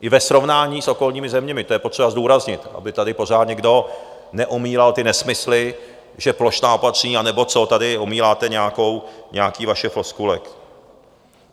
I ve srovnání s okolními zeměmi, to je potřeba zdůraznit, aby tady pořád někdo neomílal ty nesmysly, že plošná opatření, anebo co tady omíláte, nějaké vaše floskule.